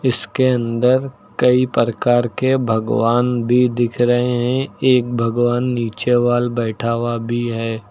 इसके अंदर कई प्रकार के भगवान भी दिख रहे हैं एक भगवान नीचे वॉल बैठा हुआ भी है।